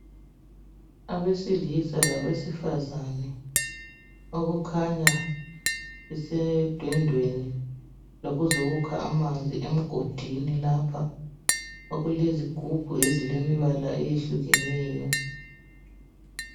Abesilisa labesifazana okukhanya besedondweni lokuzokukha amanzi emgodini lapha okulezigubhu okulembala eyehlukeneyo.